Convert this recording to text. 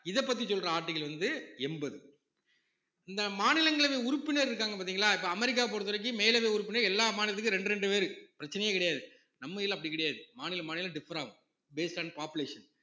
இதப்பத்தி சொல்ற article வந்து எண்பது இந்த மாநிலங்களவை உறுப்பினர் இருக்காங்க பார்த்தீங்களா இப்ப அமெரிக்கா பொறுத்தவரைக்கும் மேலவை உறுப்பினர் எல்லா மாநிலத்துக்கும் ரெண்டு ரெண்டு பேரு பிரச்சனையே கிடையாது நம்ம இதுல அப்படி கிடையாது மாநில மாநிலம் differ ஆகும் based on population